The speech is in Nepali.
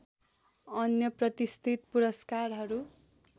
अन्य प्रतिष्ठित पुरस्कारहरू